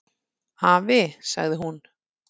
"""Afi, sagði hún."""